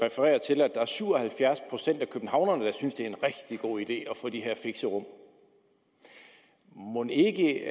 referere til at der er syv og halvfjerds procent af københavnerne der synes det er en rigtig god idé at få de her fixerum mon ikke